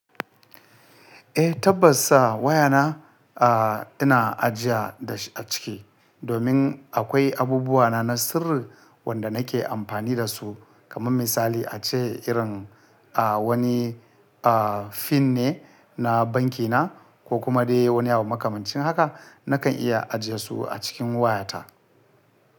Eh tabbas sa waya na, a ina ajiya da shi a ciki domin akwai abubuwa na na sirri wanda nake amfani da su kamar misali a ce irin a wani a pin ne na banki na ko kuma dai wani abu makamancin haka nakan iya ajiye su a cikin waya ta.